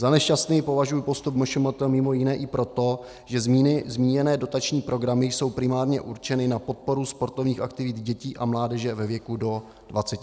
Za nešťastný považuji postup MŠMT mimo jiné i proto, že zmíněné dotační programy jsou primárně určeny na podporu sportovních aktivit dětí a mládeže ve věku do 23 let.